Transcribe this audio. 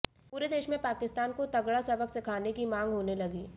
पूरे देश में पाकिस्तान को तगड़ा सबक सिखाने की मांग होने लगी